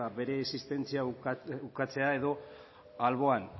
bere existentzia ukatzea edo albo